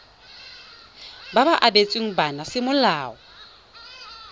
ba ba abetsweng bana semolao